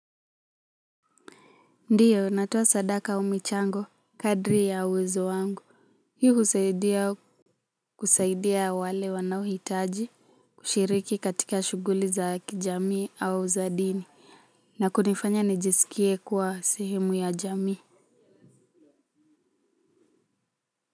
Ndiyo natoa sadaka au michango kadri ya uwezo wangu hii husaidia kusaidia wale wanao hitaji kushiriki katika shughuli za kijamii au za dini na kunifanya nijisikie kuwa sehemu ya jamii.